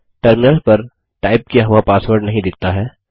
terminal पर type किया हुआ पासवर्ड नहीं दिखता है